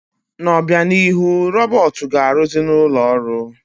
N'obịanihu, robọọtụ ga-arụzị n'ụlọ ọrụ.